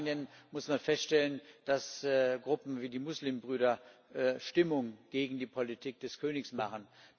In Jordanien muss man feststellen, dass Gruppen wie die Muslimbrüder Stimmung gegen die Politik des Königs machen.